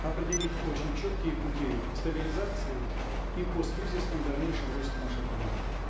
определить очень четкие пути стабилизации и посткризисном дальнейшем росте нашей экономики